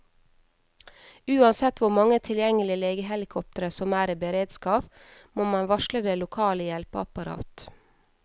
Uansett hvor mange tilgjengelige legehelikoptre som er i beredskap, må man varsle det lokale hjelpeapparat.